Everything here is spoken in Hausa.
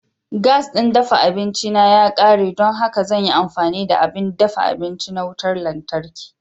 Gas ɗin dafa abinci na ya ƙare, don haka zan yi amfani da abin dafa abinci na wutar lantarki.